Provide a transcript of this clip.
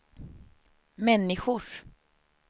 människors